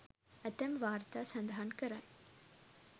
ඇතැම් වාර්තා සඳහන් කරයි